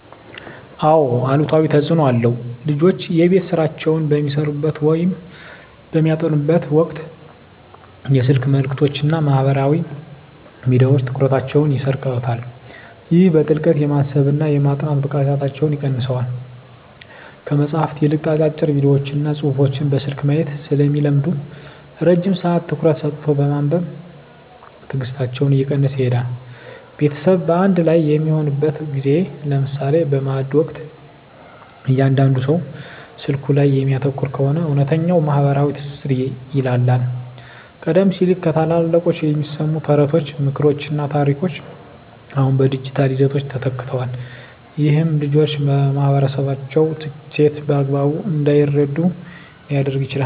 አዎ አሉታዊ ተፅኖ አለው። ልጆች የቤት ሥራቸውን በሚሠሩበት ወይም በሚያጠኑበት ወቅት የስልክ መልእክቶችና ማኅበራዊ ሚዲያዎች ትኩረታቸውን ይሰርቁታል። ይህም በጥልቀት የማሰብና የማጥናት ብቃታቸውን ይቀንሰዋል። ከመጽሐፍት ይልቅ አጫጭር ቪዲዮዎችንና ጽሑፎችን በስልክ ማየት ስለሚለምዱ፣ ረጅም ሰዓት ትኩረት ሰጥቶ የማንበብ ትዕግሥታቸው እየቀነሰ ይሄዳል። ቤተሰብ በአንድ ላይ በሚሆንበት ጊዜ (ለምሳሌ በማዕድ ወቅት) እያንዳንዱ ሰው ስልኩ ላይ የሚያተኩር ከሆነ፣ እውነተኛው ማኅበራዊ ትስስር ይላላል። ቀደም ሲል ከታላላቆች የሚሰሙ ተረቶች፣ ምክሮችና ታሪኮች አሁን በዲጂታል ይዘቶች ተተክተዋል። ይህም ልጆች የማኅበረሰባቸውን እሴት በአግባቡ እንዳይረዱ ሊያደርግ ይችላል።